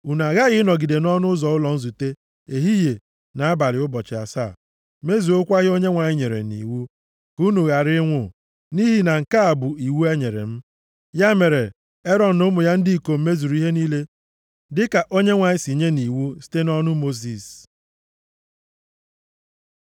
Unu aghaghị ịnọgide nʼọnụ ụzọ ụlọ nzute ehihie na abalị ụbọchị asaa, mezuokwa ihe Onyenwe anyị nyere nʼiwu, ka unu ghara ịnwụ. Nʼihi na nke a bụ iwu e nyere m.